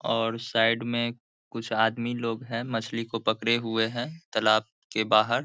और साइड में कुछ आदमी लोग है मछली को पकड़े हुए है तालाब के बाहर।